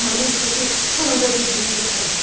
Amma nəysə ki, sonunda bir-birimizə qovuşduq.